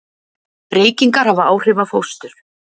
Reykingar hafa áhrif á fóstur.